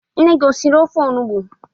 Nne gị o siri ofe onugbu?